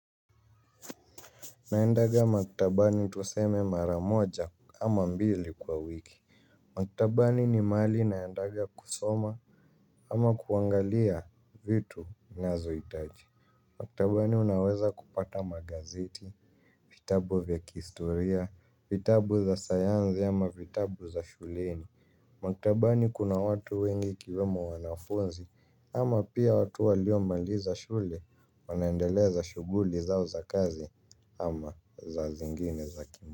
Naendanga maktabani tuseme mara moja ama mbili kwa wiki. Maktabani ni mahali naendanga kusoma ama kuangalia vitu nazohitaji. Maktabani unaweza kupata magazeti, vitabu vya kihistoria, vitabu za sayansi ama vitabu za shuleni. Makitabani kuna watu wengi kiwemo wanafunzi ama pia watu waliomaliza shule wanaendeleza shughuli zao za kazi ama za zingine za kimu.